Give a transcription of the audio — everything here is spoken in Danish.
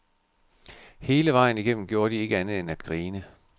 Hele vejen igennem gjorde de ikke andet end at grine.